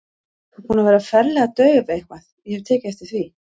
Þú ert búin að vera ferlega dauf eitthvað, ég hef tekið eftir því.